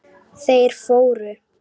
Þeir fóru.